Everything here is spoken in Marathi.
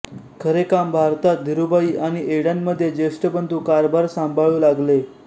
खरे काम भारतात धीरुभाई आणि एडनमध्ये ज्येष्ठ बंधू कारभार सांभाळू लागले